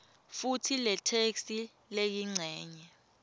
futsi letheksthi leyincenye